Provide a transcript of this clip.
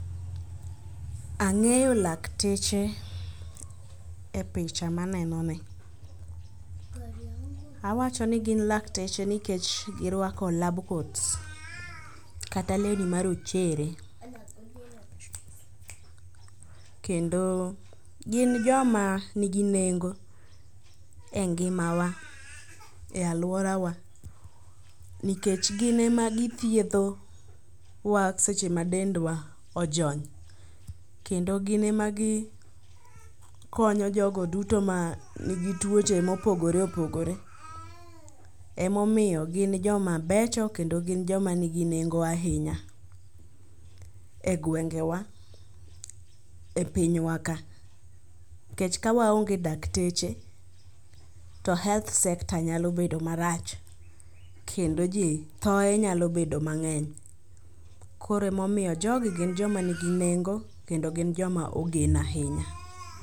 Angeyo laktech ee picha maneno ni, awacho ni gin lakteche nikech girwko lab coats kata lewni marochere kendo gin joma nigi nengo e ngimawa e aluorawa nikech gin ema githiedho wa seche ma dendwa ojony kendo gin ema gikonyo jogo duto manigi tuoch emopogore opogore. Ema omiyo gin joma becho kend gin joma nigi nengo ahinya e gengewa e pinyw aka nikech ka waonge dakteche to health sector nyalo bedo marach kendo jii, thoe nyalo bedo mangeny. Koro ema omiyo jogi gin joma nigi nengo kendo gin joma ogen ahinya